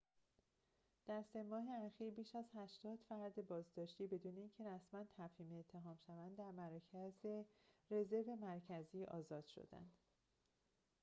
در ۳ ماه اخیر بیش از ۸۰ فرد بازداشتی بدون اینکه رسماً تفهیم اتهام شوند از مرکز رزرو مرکزی آزاد شده‌اند